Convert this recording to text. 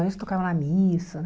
A gente tocava na missa, né?